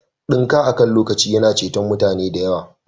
Dinka akan lokaci yana ceton mutane da yawa